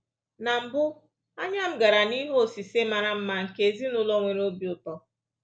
Na mbụ, anya m gara n’ihe osise mara mma nke ezinụlọ nwere obi ụtọ